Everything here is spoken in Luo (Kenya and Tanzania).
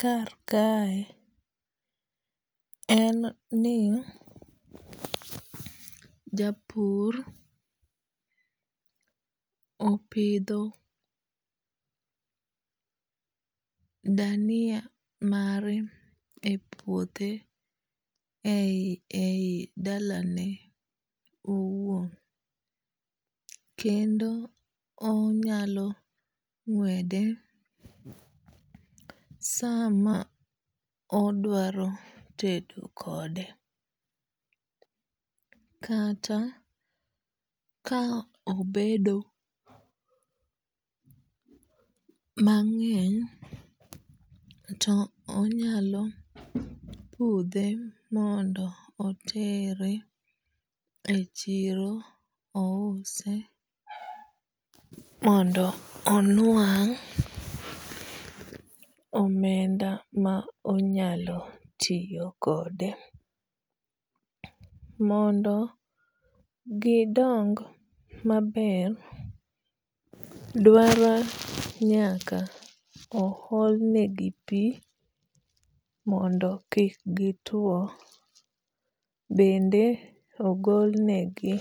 kar kae en ni japur opidho dania mare epuothe eyi eyi dalane owuon. Kendo onyalo ng'wede sama odwaro tedo kode. Kata ka obedo mang'eny to onyalo pudhe mondo otere echiro ouse mondo onwang' omenda ma onyalo tiyo kode. Mondo gi dong maber dwaro nyaka oholnegi pii mondo kik gi two. Bende ogolnegi